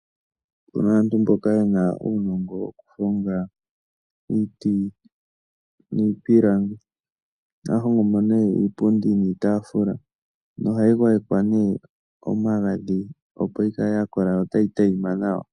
Opu na aantu mboka ye na uunongo wokuhonga iiti niipilangi. Ohaya hongo mo nee iipundi niitaafula. nohayi gwayekwa nee omagadhi, opo yi kale ya kola yo otayi tayima nawa.